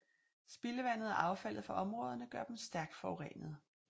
Spildevandet og affaldet fra områderne gør dem stærkt forurenede